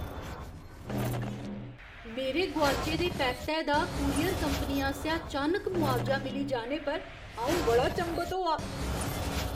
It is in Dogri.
मेरे गोआचे दे पैकटै दा कूरियर कंपनी आसेआ चानक मुआवजा मिली जाने पर अऊं बड़ा चंभत होआ।